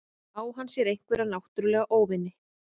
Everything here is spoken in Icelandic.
Á hann sér einhverja náttúrulega óvini?